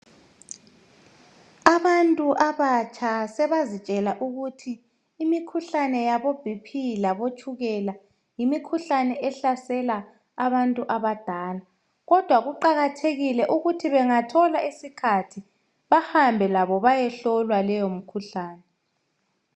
Abantu abatsha sebazitshela ukuthi imikhuhlane yaboBP labotshukela yimikhuhlane ehlasela abantu abadala kodwa kuqakathekile ukuthi bangathola isikhathi bahambe labo bayehlolwa leyo mikhuhlane.